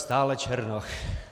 Stále Černoch.